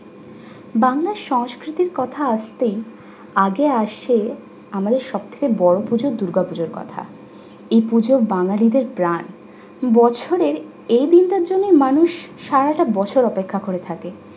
বাংলার সংস্কৃতির কথা আসতেই আজও আসছে আমাদের সবচেয়ে বড় পুজো দুর্গ পুজোর কথা। এই পুজো বাঙ্গালীদের প্রাণ। বছরে এই দিনটার জন্যই মানুষ সারাটা বছর অপেক্ষা করে থাকে।